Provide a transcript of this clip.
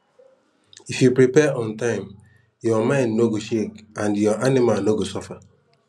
if you prepare on time your mind no go shake and your anima no go suffer